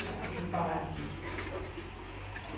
Para comparar aqui.